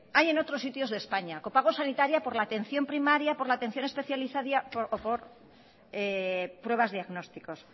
hay en otros sitios de españa copago sanitario por la atención primaria por la atención especializada o por pruebas diagnósticas